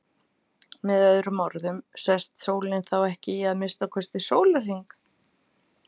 Með öðrum orðum sest sólin þá ekki í að minnsta kosti sólarhring.